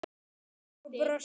Og brosti!